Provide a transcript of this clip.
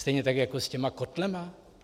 Stejně tak jako s těmi kotly?